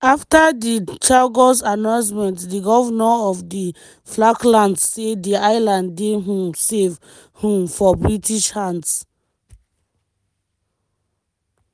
afta di chagos announcement di govnor of di falklands say di islands dey um safe um for british hands.